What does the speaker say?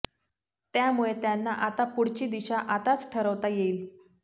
त्यामुळे त्यांना आता पुढची दिशा आताच ठरवता येईल